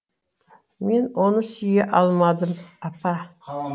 мен оны сүйе алмадым апа